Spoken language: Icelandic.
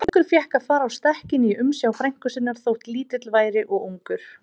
Drengur fékk að fara á stekkinn í umsjá frænku sinnar, þótt lítill væri og ungur.